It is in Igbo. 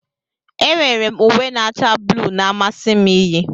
Enwere m uwe na-acha blu na-amasị m iyi